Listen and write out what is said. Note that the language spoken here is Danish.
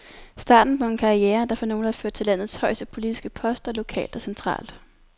Starten på en karriere, der for nogle har ført til landets højeste politiske poster lokalt og centralt.